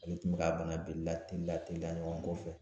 Ale tun be k'a bana bil la teliya teliya ɲɔgɔn kɔfɛ.